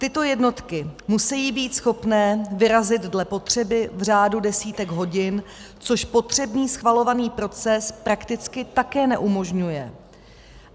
Tyto jednotky musí být schopné vyrazit dle potřeby v řádu desítek hodin, což potřebný schvalovací proces prakticky také neumožňuje.